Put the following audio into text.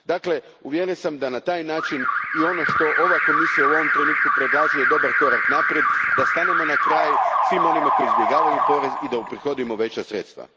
Dakle, uvjeren sam da na taj način i ono što ova Komisija u ovom trenutku predlaže je dobar korak naprijed da stanemo na kraj svim onima koji izbjegavaju porez i da uprihodimo veća sredstva.